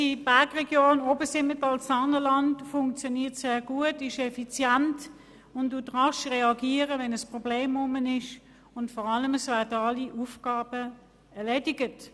Unsere Bergregion Obersimmental-Saanenland funktioniert sehr gut, ist effizient und reagiert rasch, wenn ein Problem auftaucht, und vor allem werden alle Aufgaben erledigt.